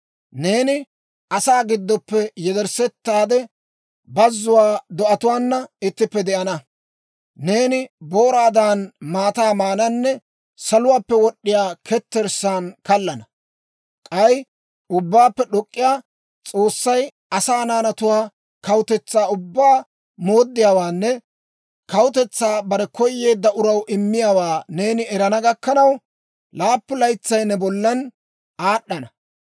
Neeni asaa giddoppe yedersseetaade, bazzuwaa do'atuwaana ittippe de'ana. Neeni booraadan maataa maananne saluwaappe wod'd'iyaa ketterssaan kallana. K'ay Ubbaappe d'ok'k'iyaa S'oossay asaa naanatu kawutetsaa ubbaa mooddiyaawaanne kawutetsaa bare koyeedda uraw immiyaawaa neeni erana gakkanaw, laappun laytsay ne bollan aad'd'ana.